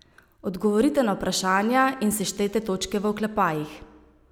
Odgovorite na vprašanja in seštejte točke v oklepajih.